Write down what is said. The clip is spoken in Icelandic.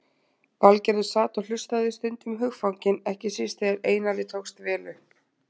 Valgerður sat og hlustaði, stundum hugfangin, ekki síst þegar Einari tókst vel upp.